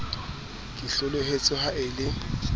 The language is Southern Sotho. ke hloletswe ha e le